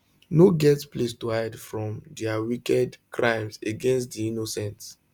no get place to hide from dia wicked crimes against di innocent